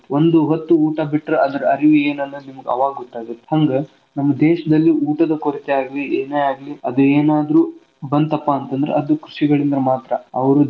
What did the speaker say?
ಒಂದ ಹೊತ್ತು ಊಟಾ ಬಿಟ್ರ ಅದರ ಅರಿವು ಏನು ಅನ್ನೋದ್ ನಿಮಗ ಆವಾಗ ಗೊತ್ತ ಆಗುತ್ ಹಂಗ ನಮ್ಮ ದೇಶದಲ್ಲಿ ಊಟದ ಕೊರತೆ ಆಗ್ಲಿ ಏನೇ ಆಗ್ಲಿ ಅದು ಏನಾದ್ರು ಬಂತಪ್ಪಾ ಅಂತಂದ್ರ ಅದು ಕೃಷಿಕರಿಂದ ಮಾತ್ರ ಅವ್ರು.